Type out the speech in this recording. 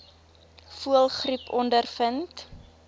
voëlgriep ondervind